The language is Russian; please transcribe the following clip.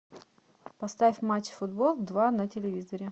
поставь матч футбол два на телевизоре